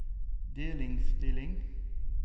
delinnstilling